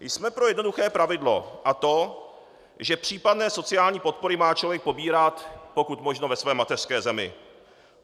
Jsme pro jednoduché pravidlo, a to že případné sociální podpory má člověk pobírat pokud možno ve své mateřské zemi.